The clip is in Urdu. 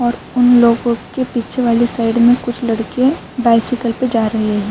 اور انلوگو کے پیچھے والی سائیڈ مے کچھ لادکیہ بیکیکلے پی جا رہی ہے۔